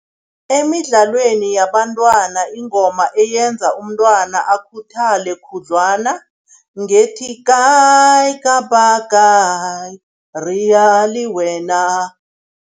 Emidlalweni yabantwana ingoma eyenza umntwana akhuthale khudlwana ngethi, kayi kapa kayi rea le wena.